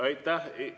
Aitäh!